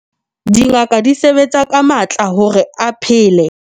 dingaka di sebetsa ka matla hore a phele